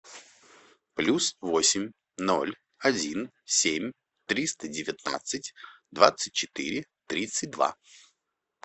плюс восемь ноль один семь триста девятнадцать двадцать четыре тридцать два